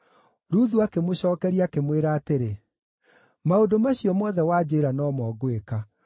Ruthu akĩmũcookeria, akĩmwĩra atĩrĩ, “Maũndũ macio mothe wanjĩĩra no mo ngwĩka.”